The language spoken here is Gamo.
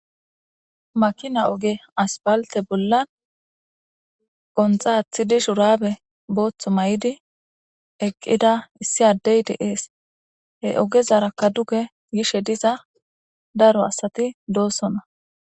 makina oge aspalte bollan qonxaathidi shurabe booththo may7idi eqqida issi addey deees he ogezarakka duge gishe diza daro asati doossonna